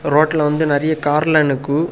ரோட்ல வந்து நிறைய கார்ல நிக்கு.